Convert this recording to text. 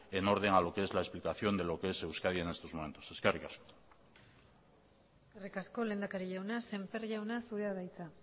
en orden a lo que es la explicación de lo que es euskadi en estos momentos eskerrik asko eskerrik asko lehendakari jauna semper jauna zurea da hitza